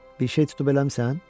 Bir şey tutub eləmisən?